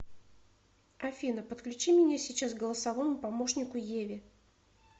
афина подключи меня сейчас к голосовому помощнику еве